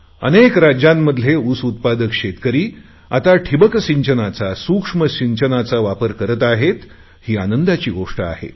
अनेक राज्यांमध्ये ऊस उत्पादक शेतकरी आता ठिंबक सिंचनाचा सूक्ष्म सिंचनाचा वापर करत आहे ही आनंदाची गोष्ट आहे